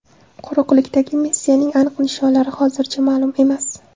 Quruqlikdagi missiyaning aniq nishonlari hozircha ma’lum emas.